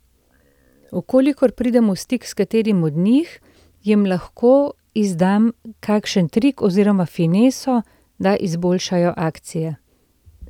V kolikor pridem v stik s katerim od njih, jim lahko izdam kakšen trik oziroma fineso, da izboljšajo akcije.